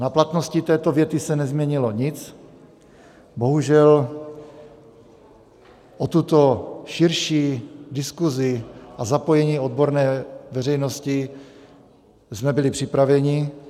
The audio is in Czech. Na platnosti této věty se nezměnilo nic, bohužel o tuto širší diskuzi a zapojení odborné veřejnosti jsme byli připraveni.